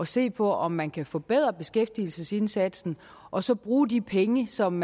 se på om man kan forbedre beskæftigelsesindsatsen og så bruge de penge som